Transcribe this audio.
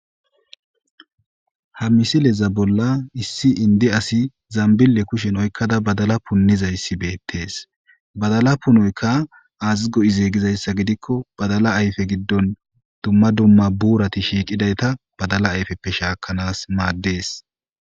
Ha misileza bolla issi indi asi zambille kushen oykkada badala punnizayssi beettees badala punoyka azigo izeegizayssa gidikko badala ayfe giddon dumma dumma buurati shiiqidayta badala ayfeppe shaakanaas maaddees.